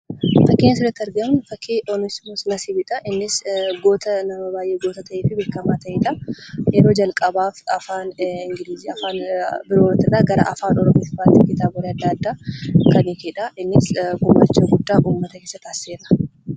Fakkiin asirratti argaa jirru, fakkii Oonismoos Nasiibidha. Innis goota nama baayyee goota ta'ee fi beekamaa ta'eedha. Yeroo jalqabaaf afaan ingilizii afaan biroo irraa gara afaan oromootti kitaabolee addaa addaa kan hiikeedha. Innis gumaacha guddaa uummata isaaf taasisee ture.